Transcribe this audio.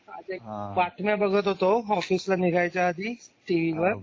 आज एक बातम्या बघत होतो ऑफिसला निघायच्या आधी टीव्ही वर